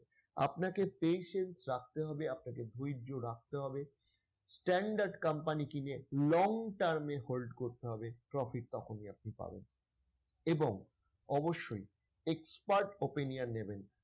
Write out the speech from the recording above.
আপনাকে patient রাখতে হবে আপনাকে ধৈর্য রাখতে হবে, standard company কিনে long-term এ hold করতে হবে profit তখনই আপনি পাবেন এবং অবশ্যই expert opinion নেবেন।